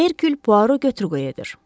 Herkül Puaro götür-qoy edir.